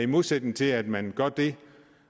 modsætning til at man gør det